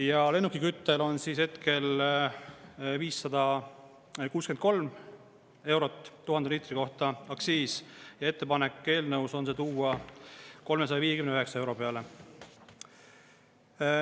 Ja lennukiküttel on hetkel 563 eurot 1000 liitri kohta aktsiis, ettepanek eelnõus on see tuua 359 euro peale.